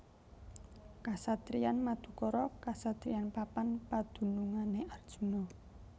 Kasatriyan Madukara kasatriyan papan padunungané Arjuna